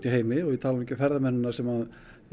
heimi og ég tala nú ekki um ferðamennina sem